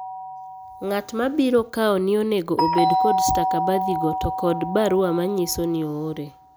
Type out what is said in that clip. Nga'tma biro kaoni onego obed kod stakabadhi go to kod barua manyiso ni oore.